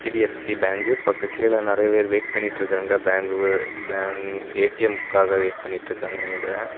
இது HDFC bank பக்க கீழ நிறைய பேர் வெயிட் பண்ணிட்டு இருக்காங்க பேங்க் பேங்க் ஏ_டி_எம்க்காக வெயிட் பண்ணிட்டு இருக்காங்க நினைக்கிற.